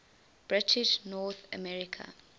british north america